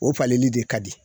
O falenli de ka di